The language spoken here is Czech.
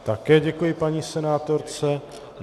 Také děkuji paní senátorce.